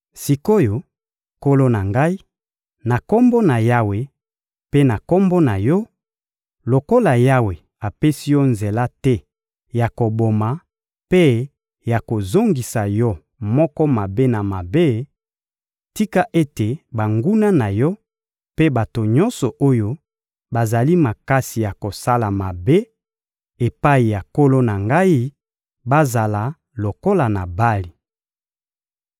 Sik’oyo, nkolo na ngai, na Kombo na Yawe mpe na kombo na yo, lokola Yawe apesi yo nzela te ya koboma mpe ya kozongisa yo moko mabe na mabe, tika ete banguna na yo mpe bato nyonso oyo bazali makasi ya kosala mabe epai ya nkolo na ngai bazala lokola Nabali.